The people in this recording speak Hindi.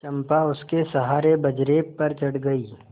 चंपा उसके सहारे बजरे पर चढ़ गई